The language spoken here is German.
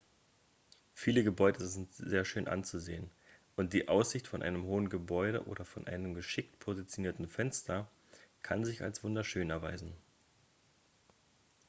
viele gebäude sind sehr schön anzusehen und die aussicht von einem hohen gebäude oder von einem geschickt positionierten fenster kann sich als wunderschön erweisen